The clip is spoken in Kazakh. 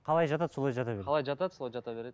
қалай жатады сол жата береді қалай жатады солай жата береді